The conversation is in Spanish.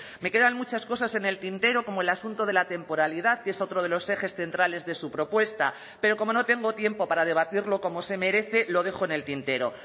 me quedan muchas cosas en el tintero como el asunto de la temporalidad que es otro de los ejes centrales de su propuesta pero como no tengo tiempo para debatirlo como se merece lo dejo en el tintero